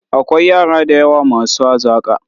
Akwai yara da yawa masu hazaƙa.